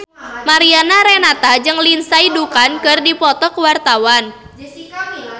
Mariana Renata jeung Lindsay Ducan keur dipoto ku wartawan